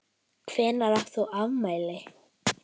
Hvenær átt þú afmæli?